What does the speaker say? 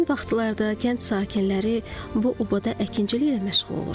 Həmin vaxtlarda kənd sakinləri bu obada əkinçiliklə məşğul olur.